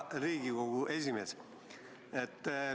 Hea Riigikogu esimees!